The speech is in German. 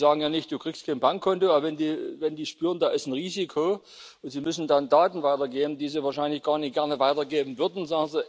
Die sagen ja nicht Du kriegst kein Bankkonto, wenn sie irgendwie spüren, da ist ein Risiko, und sie müssen dann Daten weitergeben, die sie wahrscheinlich gar nicht gerne weitergeben würden.